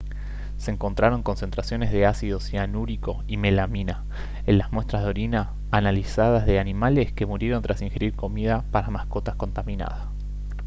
se encontraron concentraciones de ácido cianúrico y melamina en las muestras de orina analizadas de animales que murieron tras ingerir comida para mascotas contaminada